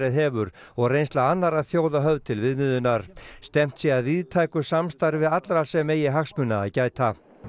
hefur og reynsla annarra þjóða höfð til viðmiðunar stefnt sé að víðtæku samstarfi allra sem eigi hagsmuna að gæta